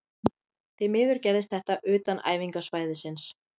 Því miður gerðist þetta utan æfingasvæðisins.